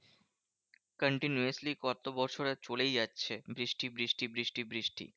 Continuously কত বছর চলেই যাচ্ছে বৃষ্টি বৃষ্টি বৃষ্টি বৃষ্টি।